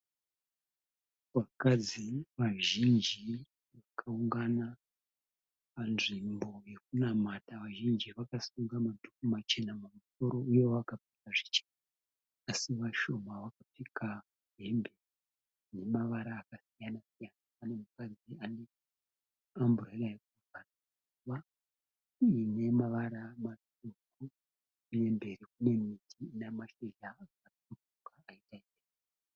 Vakadzi vazhinji vakaungana panzvimbo yekunamata. Vazhinji vakasunga madhuku machena mumusoro uye vakapfeka zvichena. Así vashoma vakapfeka hembe dzina mavara akasiya siyana. Pane mukadzi ane amburera yakavhurika uye ine maruva matsvuku. Uye mberi kune miti ina mashizha aka tsvukuruka.